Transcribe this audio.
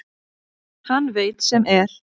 Hann veit sem er.